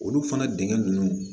Olu fana dengɛn ninnu